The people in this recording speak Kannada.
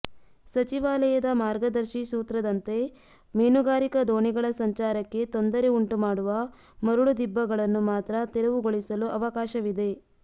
ಸಚಿವಾಲಯದ ಮಾರ್ಗದರ್ಶಿ ಸೂತ್ರದಂತೆ ಮೀನುಗಾರಿಕಾ ದೋಣಿಗಳ ಸಂಚಾರಕ್ಕೆ ತೊಂದರೆ ಉಂಟು ಮಾಡುವ ಮರಳು ದಿಬ್ಬಗಳನ್ನು ಮಾತ್ರ ತೆರವು ಗೊಳಿಸಲು ಅವಕಾಶವಿದೆ